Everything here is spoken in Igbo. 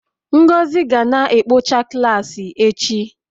Ngozi ga na-ekpocha klaasị echi